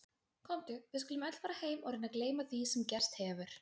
Komdu, við skulum öll fara heim og reyna að gleyma því sem gerst hefur.